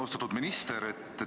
Austatud minister!